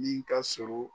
Min ka surun